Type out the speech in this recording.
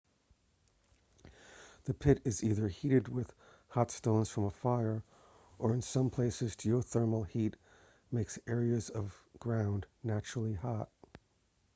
the pit is either heated with hot stones from a fire or in some places geothermal heat makes areas of ground naturally hot